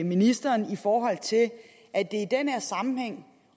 ministeren i forhold til at det i den her sammenhæng